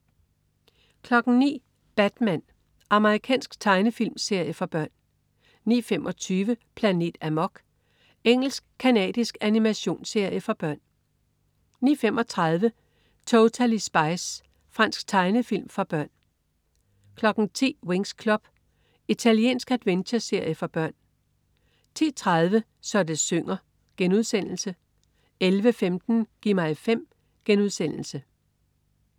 09.00 Batman. Amerikansk tegnefilmserie for børn 09.25 Planet Amok. Engelsk-canadisk animationsserie for børn 09.35 Totally Spies. Fransk tegnefilm for børn 10.00 Winx Club. Italiensk adventureserie for børn 10.30 Så det synger* 11.15 Gi' mig 5*